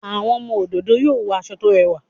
Àwọn ọmọ òdòdó yóò wọ aṣọ tó rẹwà